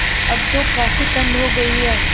अब तो काफ़ी ठण्ड हो गयी है